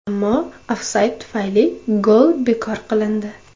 Ammo ofsayd tufayli gol bekor qilindi.